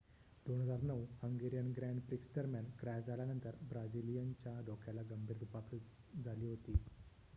2009 Hungarian grand prix दरम्यान crash झाल्यानंतर ब्राझिलियनच्या डोक्याला गंभीर दुखापत झाली होती